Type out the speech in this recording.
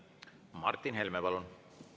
Martin Helme, palun!